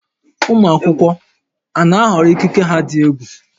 Ụmụ akwụkwọ a na-ahọrọ ikike ha dị egwu?